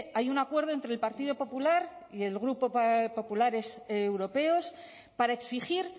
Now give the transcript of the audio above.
hay un acuerdo entre el partido popular y el grupo populares europeos para exigir